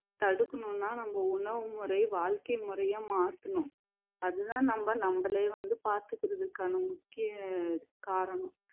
தடுக்கணும்னா நம்ம உணவு முறை வாழ்க்கை முறைய மாத்தணும் அதுதான் நம்ம நம்மளையே வந்து பாத்துக்குறதுக்கான முக்கிய அஹ் காரணம்